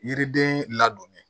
Yiriden ladonni